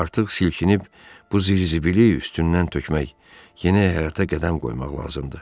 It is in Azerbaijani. Artıq silkinib bu zizbili üstündən tökmək yeni həyata qədəm qoymaq lazımdır.